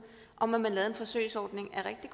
om at man laver en forsøgsordning er rigtig